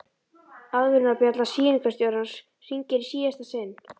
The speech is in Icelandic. Aðvörunarbjalla sýningarstjórans hringir í síðasta sinn.